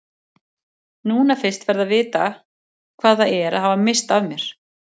Núna fyrst ferðu að vita hvað það er að hafa misst af mér.